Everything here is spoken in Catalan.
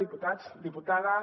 diputats diputades